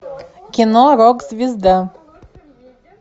кино рок звезда